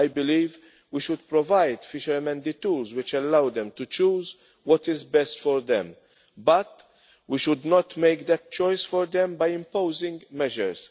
I believe we should provide fishermen with the tools which allow them to choose what is best for them but we should not make that choice for them by imposing measures.